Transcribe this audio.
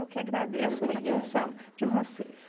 Muito obrigada. Eu que agradeço a atenção de vocês.